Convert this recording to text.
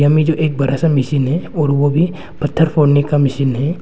में जो एक बरा सा मशीन है और वो भी पत्थर फोड़ने का मशीन है।